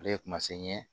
Ale ye kuma se n ye